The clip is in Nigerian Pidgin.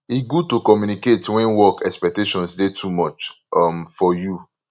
e good to communicate wen work expectations dey too much um for you